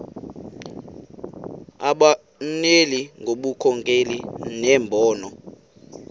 abonelele ngobunkokheli nembono